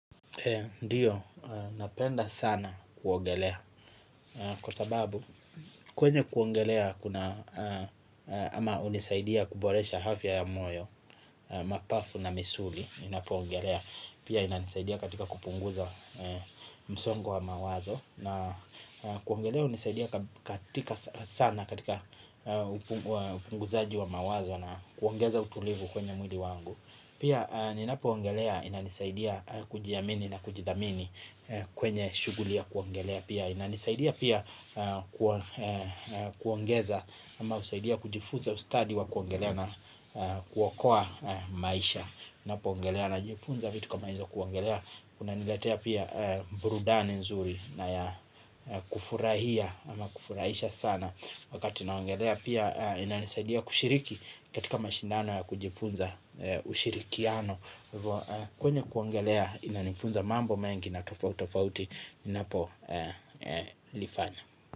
Ndiyo, napenda sana kuogelea. Kwa sababu, kwenye kuogelea kuna, ama hunisaidia kuboresha afya ya moyo, mapafu na misuli, ninapo ogelea. Pia inanisaidia katika kupunguza msongo wa mawazo. Na kuogelea hunisaidia katika sana katika upunguzaji wa mawazo na kuongeza utulivu kwenye mwili wangu. Pia ninapo ogelea inanisaidia kujiamini na kujithamini kwenye shughuli ya kuogelea pia. Inanisaidia pia kuongeza ama husaidia kujifuza ustadi wa kuogelea na kuokoa maisha, napo ogelea najifunza vitu kama hizo kuogelea. Kuna niletea pia burudani nzuri na ya kufurahia ama kufurahisha sana. Wakati naogelea pia inanisaidia kushiriki katika mashindano ya kujifunza ushirikiano. Kwenye kuuogelea inanifunza mambo mengi na tofauti tofauti ninapolifanya.